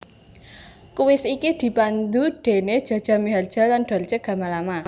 Kuis iki dipandu déné Jaja Miharja lan Dorce Gamalama